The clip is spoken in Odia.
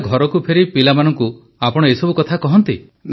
ତାହେଲେ ଘରକୁ ଫେରି ପିଲାମାନଙ୍କୁ ଆପଣ ଏ ସବୁ କଥା କହନ୍ତି